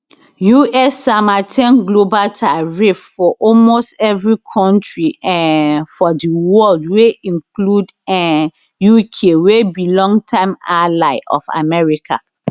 us sama ten global tariff for almost evri kontri um for di world wey include um uk wey be longtime ally of america